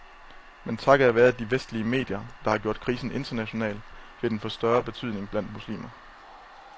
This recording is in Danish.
Men takket være de vestlige medier, der har gjort krisen international, vil den få større betydning blandt muslimer.